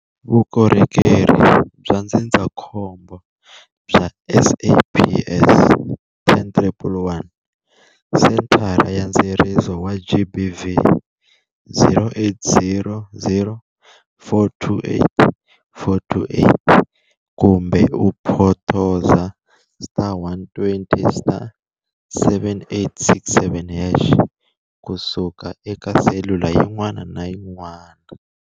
Vukorhokerhi bya ndzindzakhombo bya SAPS- 10111 Sethara ya Ndzeriso wa GBV- 0800 428 428 kumbe u photosa *120*7867# ku suka eka selula yin'wana na yin'wana.